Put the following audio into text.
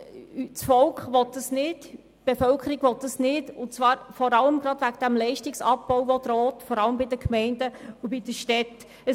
Die Bevölkerung will dieses StG nicht, vor allem wegen des damit verbundenen Leistungsabbaus, der den Gemeinden und Städten droht.